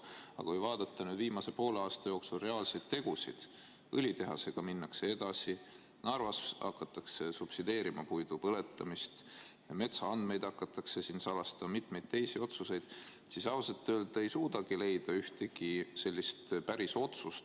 Aga kui vaadata viimase poole aasta reaalseid tegusid – õlitehasega minnakse edasi, Narvas hakatakse subsideerima puidu põletamist, metsaandmeid hakatakse salastama ja on mitmeid teisigi otsuseid –, siis ausalt öeldes ei suuda ma leida ühtegi sellist päris otsust.